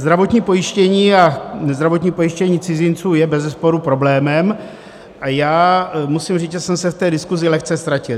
Zdravotní pojištění a zdravotní pojištění cizinců je bezesporu problémem a já musím říct, že jsem se v té diskusi lehce ztratil.